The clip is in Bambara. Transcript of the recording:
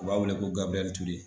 U b'a wele ko gabiriyɛli ture